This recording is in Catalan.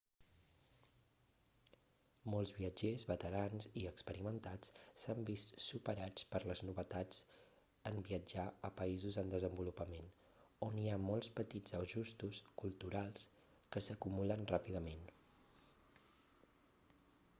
molts viatgers veterans i experimentats s'han vist superats per les novetats en viatjar a països en desenvolupament on hi ha molts petits ajustos culturals que s'acumulen ràpidament